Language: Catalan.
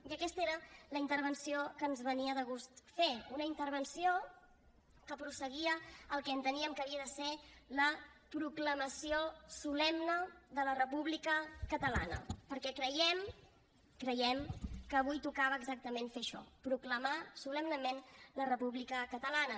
i aquesta era la intervenció que ens venia de gust fer una intervenció que prosseguia el que enteníem que havia de ser la proclamació solemne de la república catalana perquè creiem creiem que avui tocava exactament fer això proclamar solemnement la república catalana